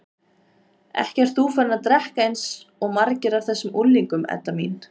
Ekki ert þú farin að drekka eins og margir af þessum unglingum, Edda mín?